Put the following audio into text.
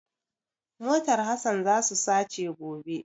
Motar Hasan za su sace gobe.